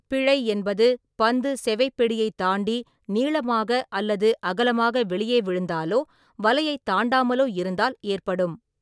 பிழை என்பது பந்து செவைப்பெடியைத் தாண்டி நீளமாக அல்லது அகலமாக வெளியே விழுந்தாலோ வலையைத் தாண்டாமலோ இருந்தால் ஏற்படும்.